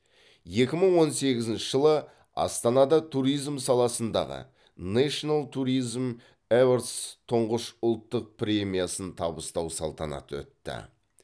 екі мың он сегізінші жылы астанада туризм саласындағы нейшнл туризм еверс тұңғыш ұлттық премиясын табыстау салтанаты өтті